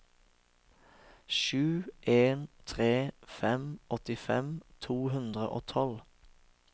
sju en tre fem åttifem to hundre og tolv